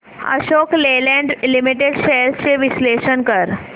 Ashok Leyland limited shares चे विश्लेषण कर